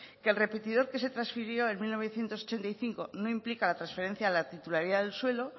que el repetidor que se transfirió en mil novecientos ochenta y cinco no implica la transferencia a la titularidad del suelo